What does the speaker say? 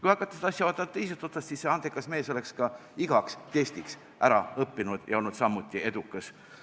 Kui hakata seda asja vaatama teisest otsast, siis see andekas mees oleks ka igaks testiks ära õppinud ja olnud samuti edukas.